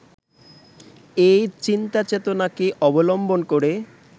এই চিন্তাচেতনাকে অবলম্বন করে